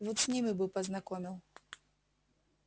вот с ними бы познакомил